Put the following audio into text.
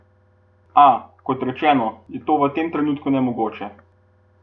A, kot rečeno, je to v tem trenutku nemogoče.